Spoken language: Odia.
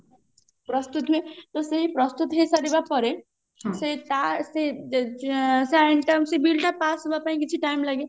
ପ୍ରସ୍ତୁତ ହୁଏ ତ ସେଇ ପ୍ରସ୍ତୁତ ହେଇ ସାରିବା ପରେ ସେ ତା ସେ ଯେ ଯେ ସେ ଆଇନ ତା କୁ ସେ bill ଟା pass ହେବା ପାଇଁ କିଛି time ଲାଗେ